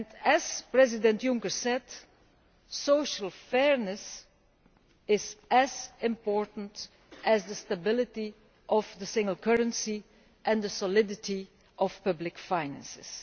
As President Juncker said, social fairness is as important as the stability of the single currency and the solidity of public finances.